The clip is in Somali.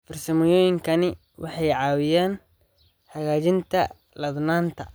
Farsamooyinkani waxay caawiyaan hagaajinta ladnaanta.